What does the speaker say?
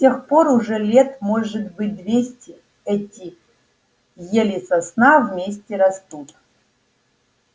с тех пор уже лет может быть двести эти ель и сосна вместе растут